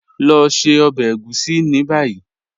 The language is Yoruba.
Lọ ṣẹ ọbẹ ègúsì ni bayi.